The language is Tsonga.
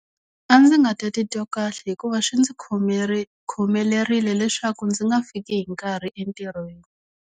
A ndzi nga ta titwa kahle hikuva swi ndzi khomelerile leswaku ndzi nga fiki hi nkarhi entirhweni.